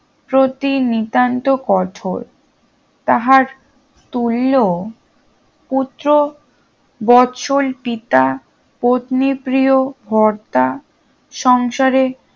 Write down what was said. প্রতি নিতান্ত কঠোর তাহার তুল্য পুত্র বৎসল পিতা পত্নী প্রিয়হর্তা সংসারের